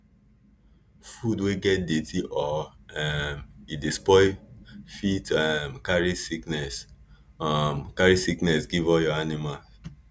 food wey get dirty or um e don spoil fit um carry sickness um carry sickness give all your animal